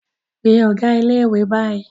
Pe ọ̀gá ilé-ìwé báyìí!